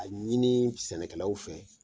A ɲini sɛnɛkɛlaw fɛ